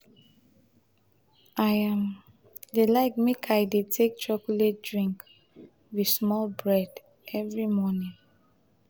i um dey like make i dey take chocolate drink wit small bread every morning.